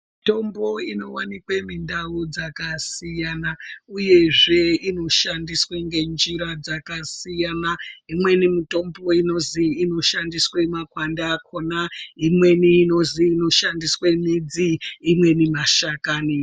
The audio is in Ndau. Mitombo inowanikwe mundau dzakasiyana uyezve inoshandiswe ngenjira dzakasiyana-siyana, imweni mitombo inozi inoshandiswe makwande akhona imweni inozi inoshandiswe midzi imweni mashakani.